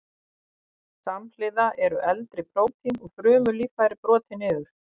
Samhliða eru eldri prótín og frumulíffæri brotin niður.